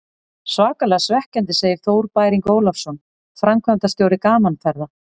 Svakalega svekkjandi, segir Þór Bæring Ólafsson, framkvæmdastjóri Gaman Ferða.